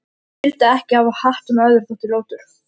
Ég vildi ekki hafa hatt sem öðrum þótti ljótur.